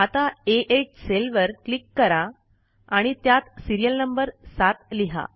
आता आ8 सेलवर क्लिक करा आणि त्यात सिरियल नंबर ७ लिहा